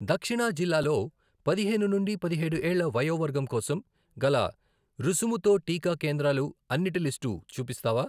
దక్షిణా జిల్లాలో పదిహేను నుండి పెదిహేడు ఏళ్ల వయోవర్గం కోసం గల రుసుము తోటీకా కేంద్రాలు అన్నిటి లిస్టు చూపిస్తావా?